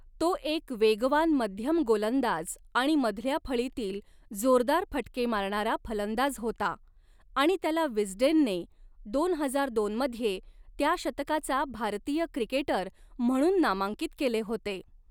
तो एक वेगवान मध्यम गोलंदाज आणि मधल्या फळीतील जोरदार फटके मारणारा फलंदाज होता आणि त्याला विस्डेनने दोन हजार दोन मध्ये त्या शतकाचा भारतीय क्रिकेटर म्हणून नामांकित केले होते.